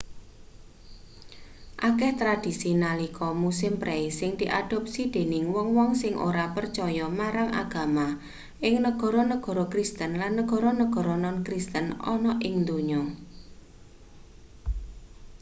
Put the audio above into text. akeh tradhisi nalika musim prei sing diadopsi dening wong-wong sing ora precaya marang agama ing negoro-negoro kristen lan negara-negara non-kristen ana ing ndonya